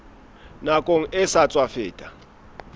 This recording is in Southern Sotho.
nakong e sa tswa feta